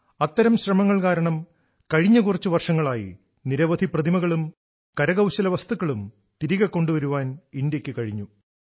അത്തരം ശ്രമങ്ങൾ കാരണം കഴിഞ്ഞ കുറച്ച് വർഷങ്ങളായി നിരവധി പ്രതിമകളും കരകൌശല വസ്തുക്കളും തിരികെ കൊണ്ടുവരാൻ ഇന്ത്യക്ക് കഴിഞ്ഞു